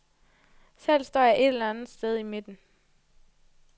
Selv står jeg et eller andet sted i midten.